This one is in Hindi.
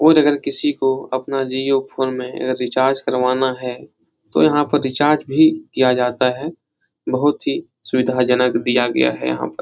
और अगर किसको अपना जिओ फ़ोन में रिचार्ज करवाना है तो यहाँ पर रिचार्ज भी किया जाता है बहोत ही सुविधाजनक दिया गया है यहाँ पर।